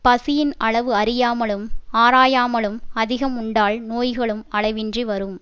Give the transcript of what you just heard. பசியின் அளவு அறியாமலும் ஆராயாமலும் அதிகம் உண்டால் நோய்களும் அளவின்றி வரும்